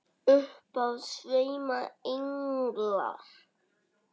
Upp af sveima englar.